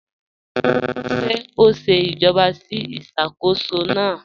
Ṣé ó n ṣè ìjàbọ̀ sí ìṣákóṣọ́ náà?